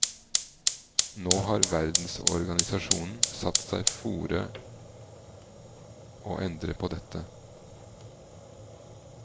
Nå har verdensorganisasjonen satt seg fore å endre på dette.